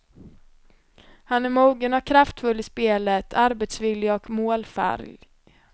Han är mogen och kraftfull i spelet, arbetsvillig och målfarlg.